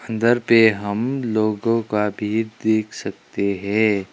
अंदर पे हम लोगों का भी देख सकते हैं।